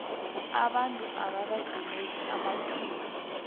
abantu ababedimeke amathuba